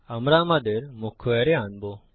আমরা আমাদের মুখ্য অ্যারে আনবো